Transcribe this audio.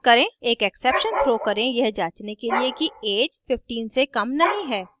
एक exception throw करें यह जांचने के लिए कि ऐज 15 से कम नहीं है